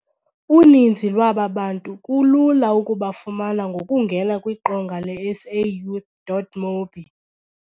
Uninzi lwaba bantu kulula ukubafumana ngokungena kwiqonga le-SAYouth.mobi.